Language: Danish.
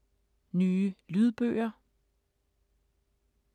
Nye lydbøger